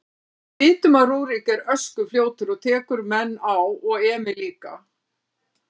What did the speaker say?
Við vitum að Rúrik er öskufljótur og tekur menn á og Emil líka.